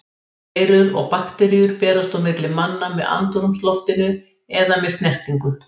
Veirur og bakteríur berast á milli manna með andrúmsloftinu eða með snertingu.